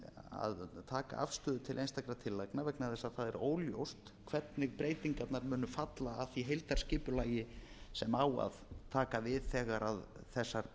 að taka afstöðu til einstakra tillagna vegna þess að það er óljóst hvernig breytingarnar muni falla að því heildarskipulagi sem á að taka við þegar þessar